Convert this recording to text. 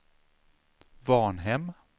Varnhem